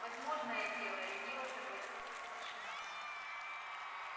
возможное дело лениво согласился старшина